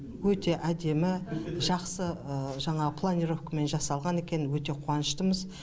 өте әдемі жақсы жаңағы планировкамен жасалған екен өте қуаныштымыз